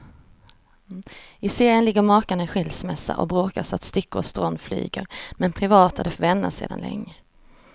I serien ligger makarna i skilsmässa och bråkar så att stickor och strån flyger, men privat är de vänner sedan länge.